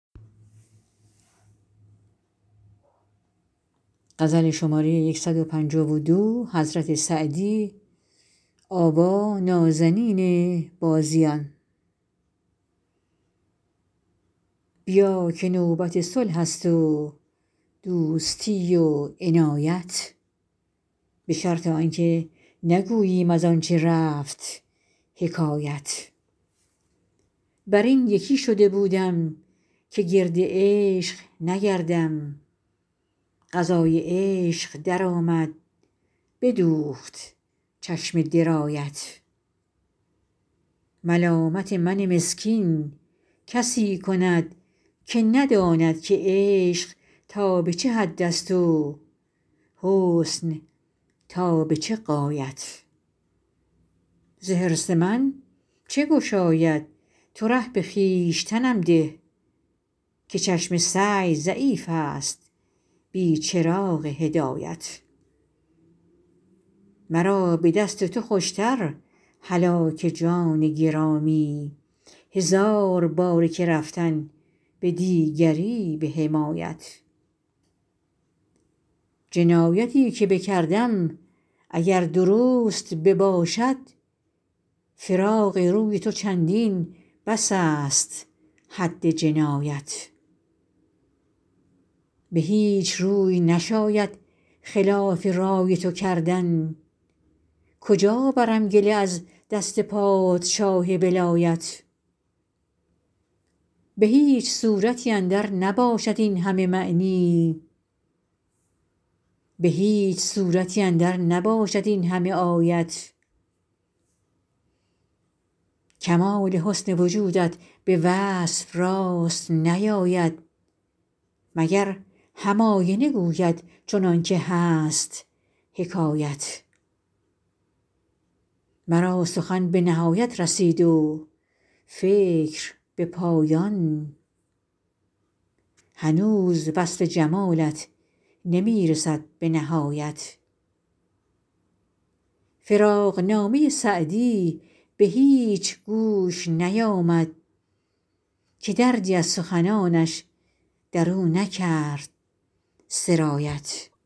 بیا که نوبت صلح است و دوستی و عنایت به شرط آن که نگوییم از آن چه رفت حکایت بر این یکی شده بودم که گرد عشق نگردم قضای عشق درآمد بدوخت چشم درایت ملامت من مسکین کسی کند که نداند که عشق تا به چه حد است و حسن تا به چه غایت ز حرص من چه گشاید تو ره به خویشتنم ده که چشم سعی ضعیف است بی چراغ هدایت مرا به دست تو خوش تر هلاک جان گرامی هزار باره که رفتن به دیگری به حمایت جنایتی که بکردم اگر درست بباشد فراق روی تو چندین بس است حد جنایت به هیچ روی نشاید خلاف رای تو کردن کجا برم گله از دست پادشاه ولایت به هیچ صورتی اندر نباشد این همه معنی به هیچ سورتی اندر نباشد این همه آیت کمال حسن وجودت به وصف راست نیاید مگر هم آینه گوید چنان که هست حکایت مرا سخن به نهایت رسید و فکر به پایان هنوز وصف جمالت نمی رسد به نهایت فراقنامه سعدی به هیچ گوش نیامد که دردی از سخنانش در او نکرد سرایت